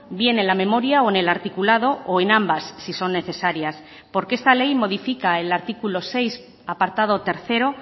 viene en la memoria o en el articulado o en ambas si son necesarias porque esta ley modifica el artículo seis apartado tercero